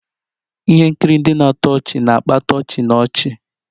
Ihe nkiri ndị na-atọ ọchị na-akpata ọchị na ọchị